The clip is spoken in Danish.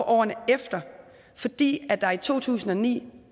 årene efter fordi der i to tusind og ni